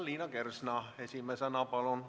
Liina Kersna esimesena, palun!